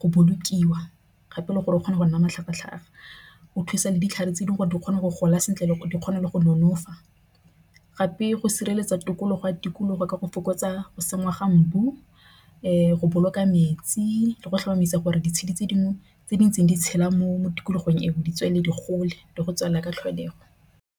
go bolokiwa. Gape le gore o kgone go nna matlhagatlhaga o thusa le ditlhare tse dingwe gore di kgone go gola sentle le di kgona le go nonofa. Gape go sireletsa tikologo ya tikologo ka go fokotsa go senngwa ga mmu ka go boloka metsi le go tlhomamisa gore di tshedi tse dingwe tse dintseng di tshela mo tikologong eo di di gole le go tswelela ka tlholego.